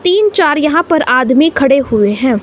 तीन चार यहां पर आदमी खड़े हुए हैं।